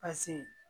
Paseke